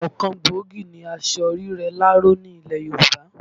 Ọ̀kan gbòógì ni aṣọ rírẹ láró ni ilẹ̀ Yorùbá